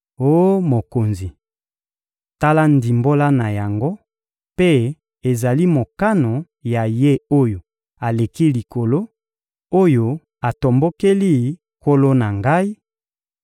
Oh mokonzi, tala ndimbola na yango; mpe ezali mokano ya Ye-Oyo-Aleki-Likolo, oyo atombokeli nkolo na ngai: